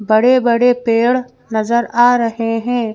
बड़े-बड़े पेड़ नजर आ रहे हैं।